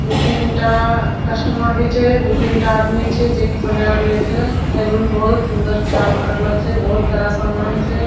दु-तीन टा कस्टमर भी छे दु-तीन टा आदमी भी छे जे कि बनाय रहल छे सैलून बहुत सुन्दर सजावट करलो छे बहुत सारा समान छे।